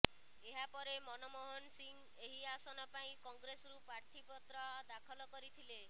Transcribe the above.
ଏହାପରେ ମନମୋହନ ସିଂହ ଏହି ଆସନ ପାଇଁ କଂଗ୍ରେସରୁ ପ୍ରାର୍ଥୀ ପତ୍ର ଦାଖଲ କରିଥିଲେ